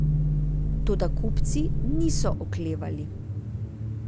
Toda kupci niso oklevali.